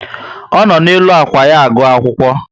O no n'elu ákwà ya agụ akwụkwọ